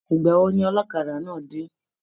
Igbawo ni ọlọ́kadà náà dé?